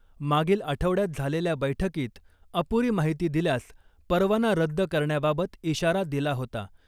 मागील आठवड्यात झालेल्या बैठकीत अपुरी माहिती दिल्यास परवाना रद्द करण्याबाबत इशारा दिला होता .